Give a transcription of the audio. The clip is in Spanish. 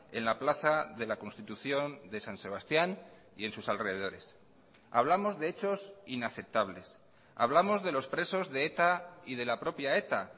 en la plaza de la constitución de san sebastián y en sus alrededores hablamos de hechos inaceptables hablamos de los presos de eta y de la propia eta